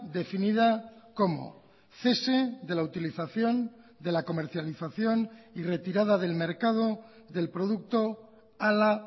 definida como cese de la utilización de la comercialización y retirada del mercado del producto ala